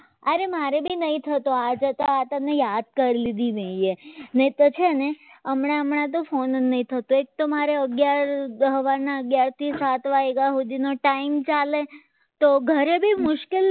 અરે મારે પણ નહીં થતો છે ને હમણાં હમણાં તો phone જ નહીં થતો એક તો મારે અગ્યાર સવારના અગ્યાર થી સાત વાગ્યા સુધી નો time ચાલે તો કરવી મુશ્કેલથી